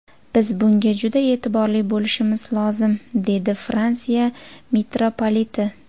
Biz bunga juda e’tiborli bo‘lishimiz lozim”, dedi Fransiya mitropoliti.